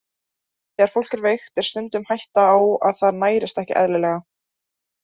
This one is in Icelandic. Þegar fólk er veikt er stundum hætta á að það nærist ekki eðlilega.